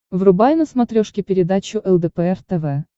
врубай на смотрешке передачу лдпр тв